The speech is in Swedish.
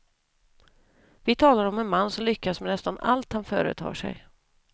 Vi talar om en man som lyckas med nästan allt han företar sig.